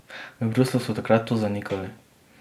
V Bruslju so takrat to zanikali.